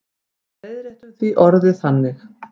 Við leiðréttum því orðið þannig.